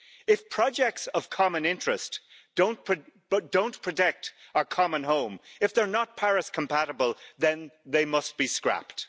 If projects of common interest don't protect our common home, if they're not Paris compatible, then they must be scrapped.